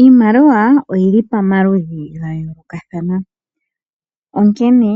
Iimaliwa oyili pamaludhi gayolokathana. Onkene